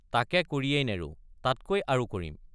তাকে কৰিয়েই নেৰো তাতকৈ আৰু কৰিম।